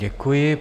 Děkuji.